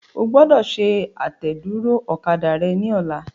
O gbọ́dọ̀ ṣe àtẹ̀dúró ọ̀kadà rẹ ní ọlá.